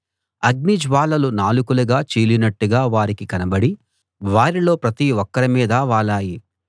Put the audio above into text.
అగ్నిజ్వాలలు నాలుకలుగా చీలినట్టుగా వారికి కనబడి వారిలో ప్రతి ఒక్కరి మీదా వాలాయి